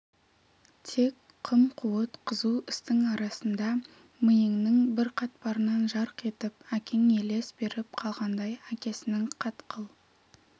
тек қым-қуыт қызу істің арасында миыңның бір қатпарынан жарқ етіп әкең елес беріп қалғандай әкесінің қатқыл